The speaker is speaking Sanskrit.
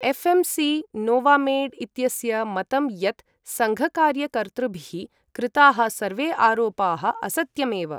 एफएमसी नोवामेड् इत्यस्य मतं यत् संघकार्यकर्तृभिः कृताः सर्वे आरोपाः असत्यम् एव।